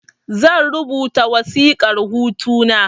Zan rubuta wasiƙar hutu na